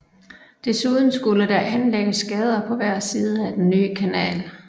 Desuden skulle der anlægges gader på hver side af den nye kanal